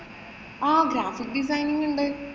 ആഹ് graphic design ഉണ്ട്.